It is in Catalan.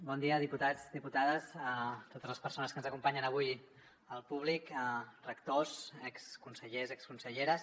bon dia diputats diputades a totes les persones que ens acompanyen avui al públic rectors exconsellers i exconselleres